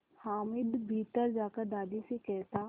हामिद भीतर जाकर दादी से कहता